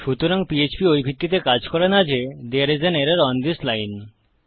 সুতরাং পিএইচপি ওই ভিত্তিতে কাজ করে না যে there's an error on this line